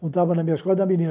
não estava na minha escola,